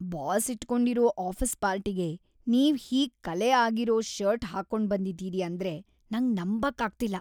Boss ಇಟ್ಕೊಂಡಿರೋ office ಪಾರ್ಟಿಗೆ ನೀವ್ ಹೀಗ್ ಕಲೆ ಆಗಿರೋ ಷರ್ಟ್ ಹಾಕೊಂಡ್ಬಂದಿದೀರಿ ಅಂದ್ರೆ ನಂಗ್ ನಂಬಕ್ ಆಗ್ತಿಲ್ಲ.